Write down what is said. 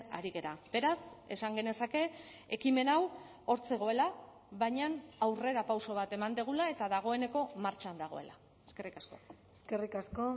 ari gara beraz esan genezake ekimen hau hor zegoela baina aurrerapauso bat eman dugula eta dagoeneko martxan dagoela eskerrik asko eskerrik asko